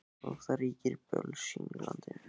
Og það ríkir bölsýni í landinu.